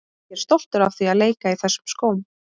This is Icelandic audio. Ég er stoltur af því að leika í þessum skóm.